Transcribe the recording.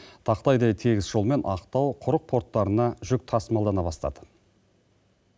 тақтайдай тегіс жолмен ақтау құрық порттарына жүк тасымалдана бастады